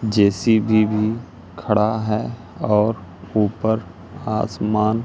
JCB भी खड़ा है और ऊपर आसमान--